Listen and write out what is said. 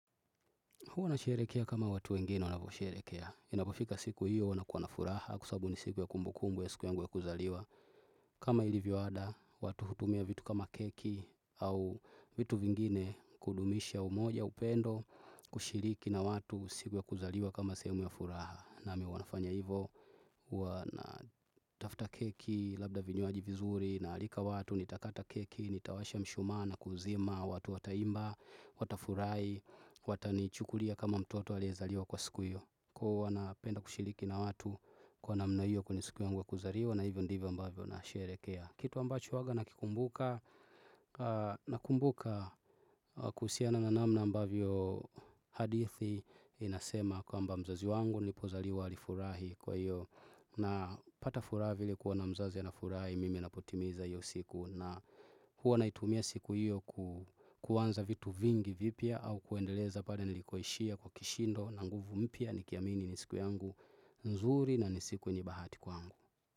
Huwa na sherekea kama watu wengine wanavyosherekea. Inapofika siku hiyo wana kuwa na furaha kwa sababu ni siku ya kumbukumbu ya siku yangu ya kuzaliwa. Kama ilivyoada watu hutumia vitu kama keki au vitu vingine kudumisha umoja upendo kushiriki na watu siku ya kuzaliwa kama sehemu ya furaha. Nami huwa nafanya hivo, huwana tafta keki, labda vinywaji vizuri, naalika watu, nitakata keki, nitawasha mshumaa, kuuzima, watu wataimba, watafurahi, watani chukulia kama mtoto aliyezaliwa kwa siku hiyo. Kuhu wana penda kushiliki na watu kwa namna hiyo kwenye siku yangu ya kuzaliwa na hivyo ndivyo ambavyo nasherehekea. Kitu ambacho uwanga nakikumbuka na kumbuka kuhusiana na namna ambavyo hadithi inasema kwamba mzazi wangu nilipozaliwa alifurahi kwa hiyo na pata furaha vile kuona mzazi ana furahi mimi napotimiza hiyo siku na huwa naitumia siku hiyo ku kuanza vitu vingi vipya au kuendeleza pale nilikoishia kwa kishindo na nguvu mpya nikiamini ni siku yangu nzuri na ni siku yenye bahati kwangu.